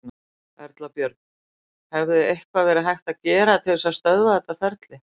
Erla Björg: Hefði eitthvað verið hægt að gera til þess að stöðva þetta ferli?